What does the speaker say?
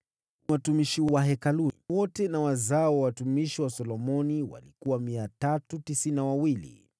Watumishi wa Hekalu wote na wazao wa watumishi wa Solomoni 392